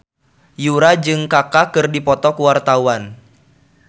Yura jeung Kaka keur dipoto ku wartawan